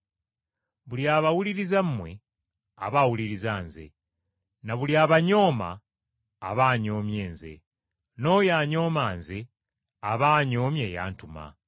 “Buli abawuliriza mmwe aba awulirizza Nze, na buli abanyooma aba anyoomye Nze, n’oyo anyooma Nze aba anyoomye eyantuma.”